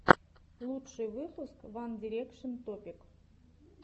лучший выпуск ван дирекшен топик